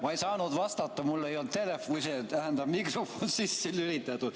Ma ei saanud vastata, mul ei olnud mikrofon sisse lülitatud.